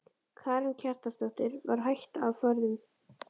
Karen Kjartansdóttir: Var hætta á ferðum?